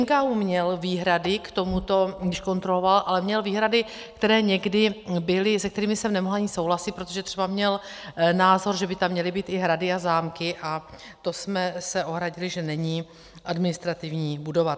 NKÚ měl výhrady k tomuto, když kontroloval, ale měl výhrady, které někdy byly... se kterými jsem nemohla ani souhlasit, protože třeba měl názor, že by tam měly být i hrady a zámky, a to jsme se ohradili, že není administrativní budova.